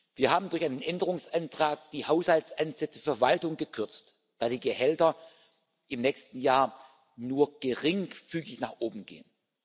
Wir haben durch einen Änderungsantrag die Haushaltsansätze für Verwaltung gekürzt, weil die Gehälter im nächsten Jahr nur geringfügig nach oben gehen.